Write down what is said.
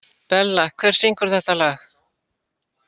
Bella, hver syngur þetta lag?